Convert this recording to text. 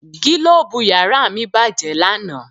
Gílóòbù yàrá mi bàjẹ́ lánà